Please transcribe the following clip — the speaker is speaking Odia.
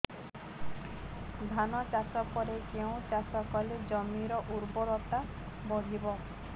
ଧାନ ଚାଷ ପରେ କେଉଁ ଚାଷ କଲେ ଜମିର ଉର୍ବରତା ବଢିବ